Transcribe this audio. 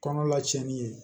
Kɔnɔla tiɲɛni ye